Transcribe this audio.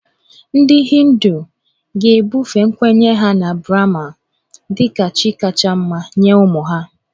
Ndị Hindu ga-ebufe nkwenye ha na Brahma dị ka chi kacha mma nye ụmụ ha